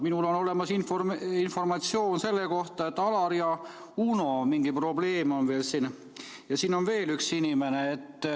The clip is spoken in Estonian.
Minul on olemas informatsioon selle kohta, et Alaril ja Unol mingi probleem veel on ja siin on veel üks inimene.